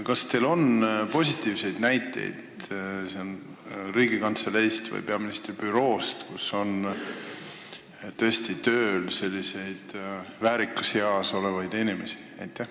Kas teil on positiivseid näiteid Riigikantseleist või eraldi peaministri büroost, et teil on tõesti tööl selliseid väärikas eas olevaid inimesi?